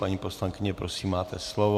Paní poslankyně, prosím, máte slovo.